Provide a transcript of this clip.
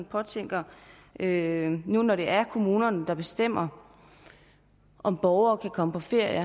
godt tænke mig at høre nu når det er kommunerne der bestemmer om borgere kan komme på ferie